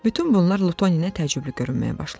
Bütün bunlar Lutona təəccüblü görünməyə başlamışdı.